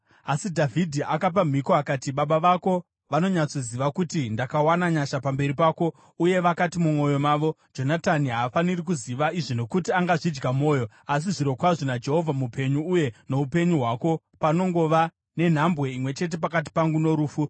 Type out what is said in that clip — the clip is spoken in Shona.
Asi Dhavhidhi akapa mhiko akati, “Baba vako vanonyatsoziva kuti ndakawana nyasha pamberi pako, uye vakati mumwoyo mavo, ‘Jonatani haafaniri kuziva izvi nokuti angazvidya mwoyo.’ Asi zvirokwazvo naJehovha mupenyu uye noupenyu hwako, panongova nenhambwe imwe chete pakati pangu norufu.”